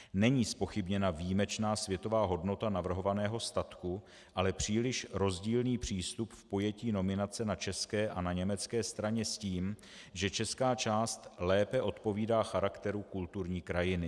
Není zpochybněna výjimečná světová hodnota navrhovaného statku, ale příliš rozdílný přístup v pojetí nominace na české a na německé straně s tím, že česká část lépe odpovídá charakteru kulturní krajiny.